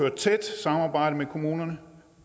et tæt samarbejde med kommunerne